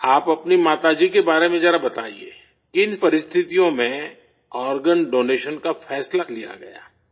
آپ، اپنی ماتا جی کے بار میں ذرا بتائیے، کن حالات میں آرگن ڈونیشن کا فیصلہ لیا گیا؟